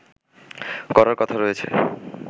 করার কথা রয়েছে